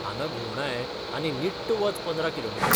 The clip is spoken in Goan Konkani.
हांगां घुंवडाय आनी निट्ट वच पंदरा किलोमिटर.